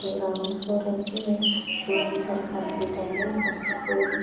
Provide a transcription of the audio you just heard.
Ground floor అయితే complete అయింది. First floor --